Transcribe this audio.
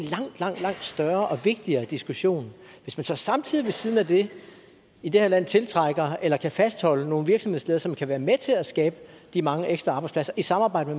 langt langt større og vigtigere diskussion hvis man så samtidig ved siden af det i det her land tiltrækker eller kan fastholde nogle virksomhedsledere som kan være med til at skabe de mange ekstra arbejdspladser i samarbejde